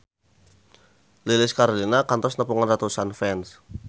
Lilis Karlina kantos nepungan ratusan fans